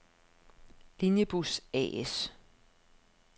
Linjebus A/S